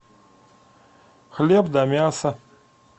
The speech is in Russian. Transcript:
хлеб да мясо